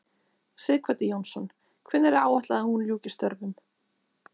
Sighvatur Jónsson: Hvenær er áætlað að hún ljúki störfum?